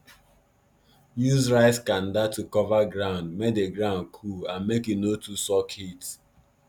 use rice kanda to cover ground make di ground cool and make e no too suck heat